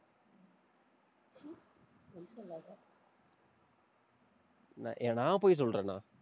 ந~ நான், பொய் சொல்றேனா?